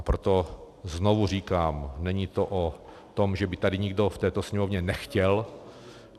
A proto znovu říkám, není to o tom, že by tady nikdo v této Sněmovně nechtěl.